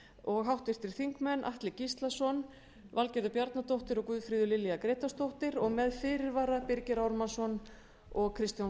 og háttvirtir þingmenn atli gíslason valgerður bjarnadóttir og guðfríður lilja grétarsdóttir og með fyrirvarar birgir ármannsson og kristján